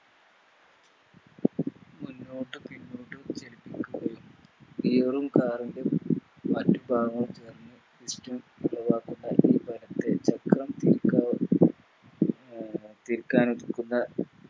മുന്നോട്ടു പിന്നോട്ടു ചലിപ്പിക്കുകയും Gear ഉം Car ൻറെ ചേർന്ന് തീർക്കാനൊരുക്കുന്ന